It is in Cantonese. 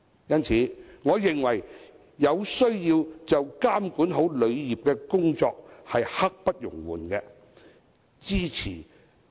因此，我認為監管好旅遊業的工作刻不容緩。